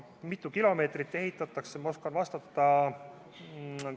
Mitu kilomeetrit ehitatakse?